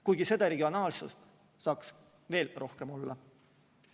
Kuigi seda regionaalsust saaks veel rohkem olla.